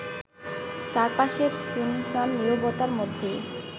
চারপাশের সুনসান নীরবতার মধ্যে